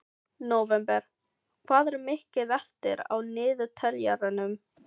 Nóvember, hvað er mikið eftir af niðurteljaranum?